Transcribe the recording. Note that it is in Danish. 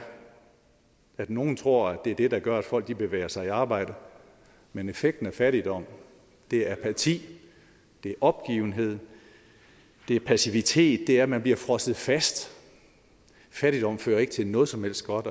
at nogle tror at det er det der gør at folk bevæger sig i arbejde men effekten af fattigdom er apati det er opgivenhed det er passivitet det er at man bliver frosset fast fattigdom fører ikke til noget som helst godt